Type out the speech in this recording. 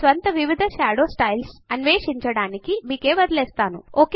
మీ స్వంత వివిధ shadow styles అన్వేషించడానికి మీకే వదలివేస్తాను